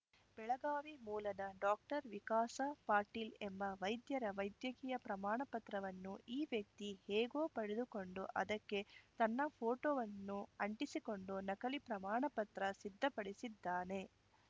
ಬೆಳಗಾವಿ ಮೂಲದ ಡಾಕ್ಟರ್ ವಿಕಾಸ ಪಾಟೀಲ್‌ ಎಂಬ ವೈದ್ಯರ ವೈದ್ಯಕೀಯ ಪ್ರಮಾಣಪತ್ರವನ್ನು ಈ ವ್ಯಕ್ತಿ ಹೇಗೋ ಪಡೆದುಕೊಂಡು ಅದಕ್ಕೆ ತನ್ನ ಫೋಟೋವನ್ನು ಅಂಟಿಸಿಕೊಂಡು ನಕಲಿ ಪ್ರಮಾಣಪತ್ರ ಸಿದ್ಧಪಡಿಸಿದ್ದಾನೆ